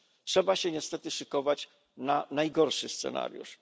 Trzeba się niestety szykować na najgorszy scenariusz.